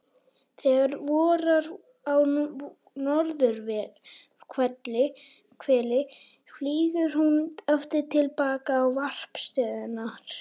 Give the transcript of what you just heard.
Þegar vorar á norðurhveli flýgur hún aftur til baka á varpstöðvarnar.